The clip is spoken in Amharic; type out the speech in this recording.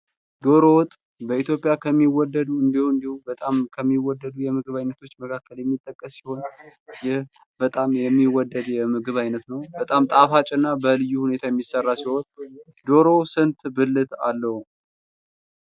ዶሮ ወጥ በኢትዮጵያ ከሚወደዱ እንዲያው እንዲያው በጣም ከሚወደዱ የምግብ አይነቶች መካከል የሚጠቀስ ሲሆን ይህ በጣም የሚወደድ የምግብ አይነት ነው ። በጣም ጣፋጭ እና በልዩ ሁኔታ የሚሰራ ሲሆን ዶሮ ስንት ብልት አለው?